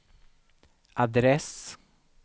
adress